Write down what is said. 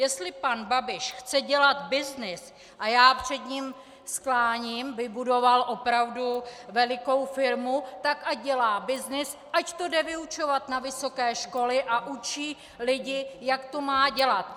Jestli pan Babiš chce dělat byznys, a já před ním skláním, vybudoval opravdu velikou firmu, tak ať dělá byznys, ať to jde vyučovat na vysoké školy a učí lidi, jak to má dělat.